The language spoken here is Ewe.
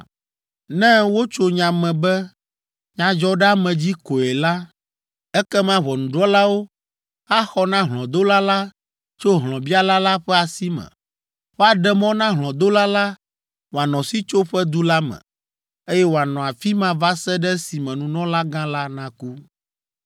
Ne wotso nya me be nyadzɔɖeamedzi koe la, ekema ʋɔnudrɔ̃lawo axɔ na hlɔ̃dola la tso hlɔ̃biala la ƒe asi me. Woaɖe mɔ na hlɔ̃dola la wòanɔ Sitsoƒedu la me, eye wòanɔ afi ma va se ɖe esime nunɔlagã la naku.